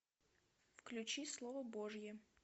включи слово божье